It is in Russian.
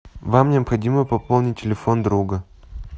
вам необходимо пополнить телефон друга